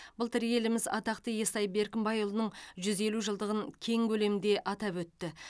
былтыр еліміз атақты естай беркімбайұлының жүз елу жылдығын кең көлемде атап өтті